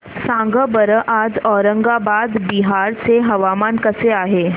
सांगा बरं आज औरंगाबाद बिहार चे हवामान कसे आहे